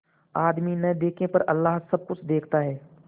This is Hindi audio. आदमी न देखे पर अल्लाह सब कुछ देखता है